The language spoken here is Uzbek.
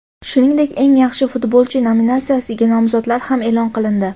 Shuningdek, eng yaxshi futbolchi nominatsiyasiga nomzodlar ham e’lon qilindi.